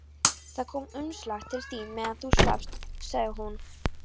Það kom umslag til þín meðan þú svafst, sagði hún.